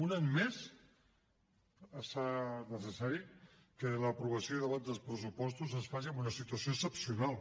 un any més es fa necessari que l’aprovació i el debat dels pressupostos es faci en una situació excepcional